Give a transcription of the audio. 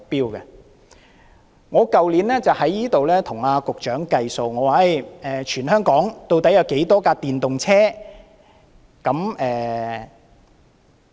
去年，我在立法會與局長"計數"，我問他全香港究竟有多少輛電動車。